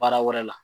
Baara wɛrɛ la